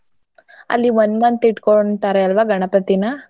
ಅಲ್ಲಿ one month ಇಟ್ಕೊಂತಾರೆ ಅಲ್ವ ಗಣಪತಿನಾ?